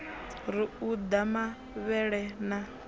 ri u ḓa mavhele na